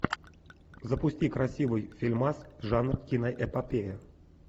запусти красивый фильмас жанр киноэпопея